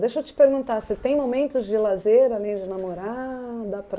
Deixa eu te perguntar, você tem momentos de lazer, além de namorar?